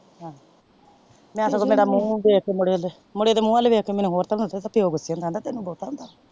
ਵੈਸੇ ਤੇ ਬੜਾ ਮੂੰਹ ਵੇਖ ਕ ਮੁਦੇ ਮੁਦੇ ਤੇ ਮੂੰਹ ਵੱਲ ਵੇਖ ਕੇ ਮੈਂ ਸਚਿਓ ਗੁੱਸੇ ਚ ਕਹਿੰਦਾ ਤੈਨੂੰ ਗੁੱਸਾ ਆਉਂਦਾ ਏ।